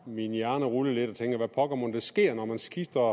min hjerne rulle lidt og tænker hvad pokker mon der sker når man skifter